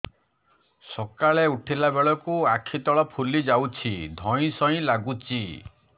ସକାଳେ ଉଠିଲା ବେଳକୁ ଆଖି ତଳ ଫୁଲି ଯାଉଛି ଧଇଁ ସଇଁ ଲାଗୁଚି